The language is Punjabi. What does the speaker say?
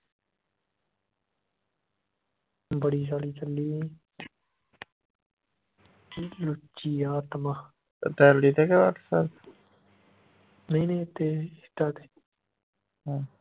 ਬੜੀ ਸਾਲੀ ਚੱਲੀ ਸੀ ਲੁੱਚੀ ਆਤਮਾਂ ਨਹੀਂ ਨਹੀਂ ਇਹਤੇ insta ਤੇ